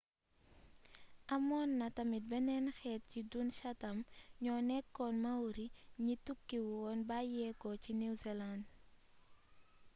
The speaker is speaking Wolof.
amoon na tamit beneen xeet ci dun chatham ñoo nekkoon maori ñi tukki woon bayyéko ci new zealand